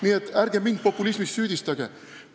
Nii et ärge mind populismis süüdistage!